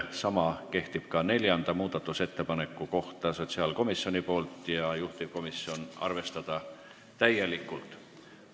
Sama kehtib ka neljanda muudatusettepaneku kohta: esitaja on sotsiaalkomisjon ja juhtivkomisjoni otsus on arvestada seda täielikult.